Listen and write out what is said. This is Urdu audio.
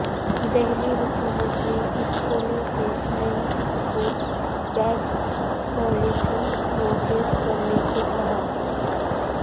دہلی حکومت نے اسکولوں سے نئی اسکول بیگ پالیسی نافذ کرنے کوکہا